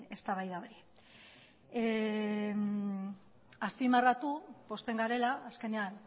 eztabaida hori azpimarratu pozten garela azkenean